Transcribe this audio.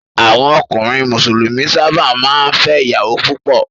Àwọn ọkùnrin Mùsùlùmí sábà máa ń fẹ́ ìyàwó púpọ̀.